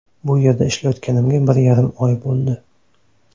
Bu yerda ishlayotganimga bir yarim oy bo‘ldi.